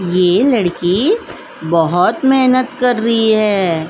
ये लड़की बहौत मेहनत कर रही है।